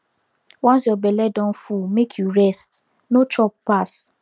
once your belle don full make you rest no chop pass